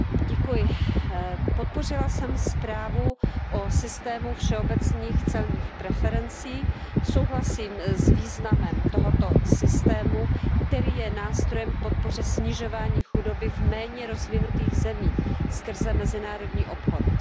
Pane předsedající, podpořila jsem zprávu o systému všeobecných celních preferencí. Souhlasím s významem tohoto systému, který je nástrojem k podpoře snižování chudoby v méně rozvinutých zemích skrze mezinárodní obchod.